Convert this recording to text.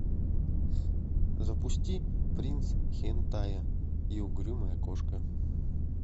запусти принц хентая и угрюмая кошка